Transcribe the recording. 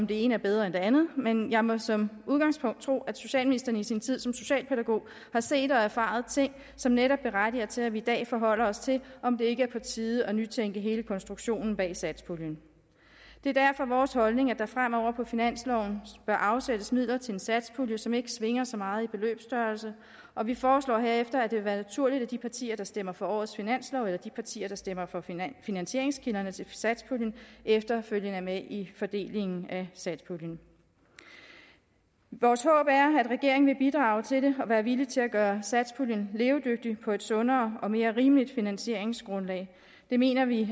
det ene er bedre end det andet men jeg må som udgangspunkt tro at socialministeren i sin tid som socialpædagog har set og erfaret ting som netop berettiger til at vi i dag forholder os til om det ikke er på tide at nytænke hele konstruktionen bag satspuljen det er derfor vores holdning at der fremover på finansloven bør afsættes midler til en satspulje som ikke svinger så meget i beløbsstørrelse og vi foreslår herefter at det vil være naturligt at de partier der stemmer for årets finanslov eller de partier der stemmer for finansieringskilderne til satspuljen efterfølgende er med i fordelingen af satspuljen vores håb er at regeringen vil bidrage til det og være villig til at gøre satspuljen levedygtig på et sundere og mere rimeligt finansieringsgrundlag det mener vi